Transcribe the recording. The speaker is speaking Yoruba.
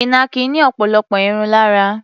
Ìnàkí ní ọ̀pọ̀lọpọ̀ irun lára.